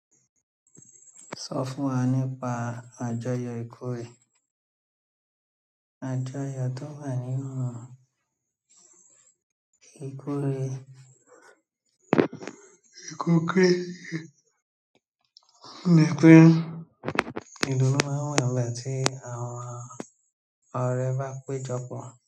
Sọ fún wa nípa àjọyọ̀ ìkórè. Àjọyọ̀ tó wà nínú ìkórè, akọkọ ni pé ìdùnnú máa ń wà nígbà tí àwọn ọ̀rẹ́ bá péjọ pọ̀.